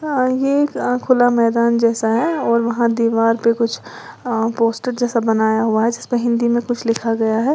आगे का खुला मैदान जैसा है और वहां दीवार पर कुछ पोस्टर जैसा बनाया हुआ है जिसपे हिंदी में कुछ लिखा गया है।